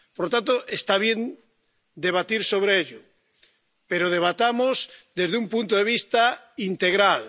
Por lo tanto, está bien debatir sobre ello, pero debatamos desde un punto de vista integral.